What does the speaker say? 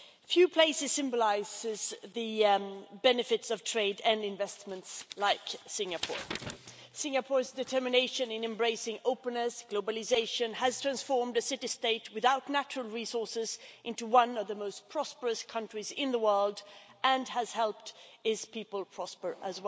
Few places symbolise the benefits of trade and investments like Singapore. Singapore's determination in embracing openness and globalisation has transformed a city state without natural resources into one of the most prosperous countries in the world and has helped its people prosper too.